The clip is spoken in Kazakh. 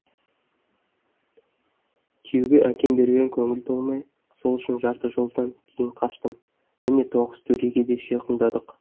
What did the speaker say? күйеуге әкем берген көңіл толмай сол үшін жарты жолдан кейін қаштым міне тоғызтөреге де